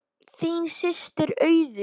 Þín systir Auður.